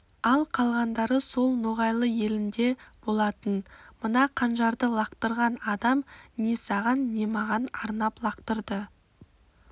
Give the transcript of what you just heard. ал қалғандары сол ноғайлы елінде болатын мына қанжарды лақтырған адам не саған не маған арнап лақтырды